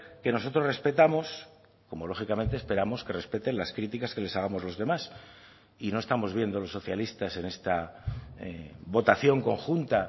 que nosotros respetamos como lógicamente esperamos que respeten las críticas que les hagamos los demás y no estamos viendo los socialistas en esta votación conjunta